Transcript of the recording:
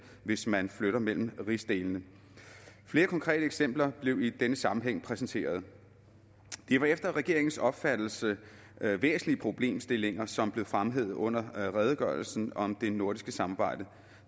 hvis man flytter mellem rigsdelene flere konkrete eksempler blev i denne sammenhæng præsenteret det var efter regeringens opfattelse væsentlige problemstillinger som blev fremhævet under redegørelsen om det nordiske samarbejde og